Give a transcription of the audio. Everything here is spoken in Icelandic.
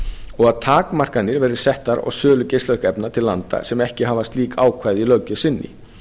og að takmarkanir verði settar á sölu geislavirkra efna til landa sem ekki hafa slík ákvæði í löggjöf sinni